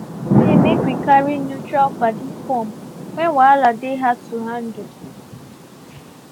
we gree say make we carry neutral padi come when wahala dey hard to handle.